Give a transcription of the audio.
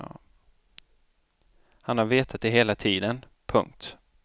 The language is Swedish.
Han har vetat det hela tiden. punkt